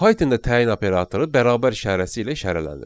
Pythonda təyin operatoru bərabər işarəsi ilə işarələnir.